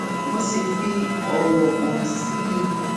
mo sì fi òwò hàn sí i